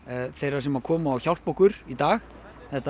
þeirra sem koma og hjálpa okkur í dag þetta